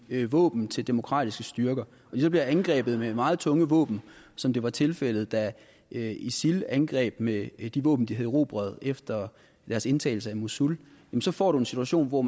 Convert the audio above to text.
våben til demokratiske styrker og de så bliver angrebet med meget tunge våben som det var tilfældet da isil angreb med de våben de havde erobret efter indtagelsen af mosul så får du en situation hvor